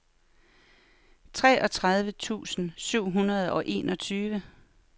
treogtredive tusind syv hundrede og enogtyve